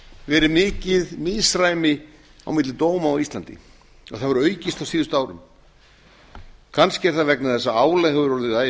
verið mikið misræmi á milli dóma á íslandi og það hefur aukist á síðustu árum kannski er það vegna að álag hefur orðið